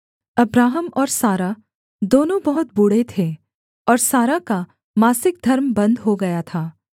Abraham और Sarah दोनों बहुत बूढ़े थे और सारा का मासिक धर्म बन्द हो गया था